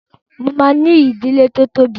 Mo máa ní ìdílé tó tóbi.